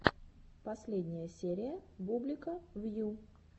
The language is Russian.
последняя серия бублика вью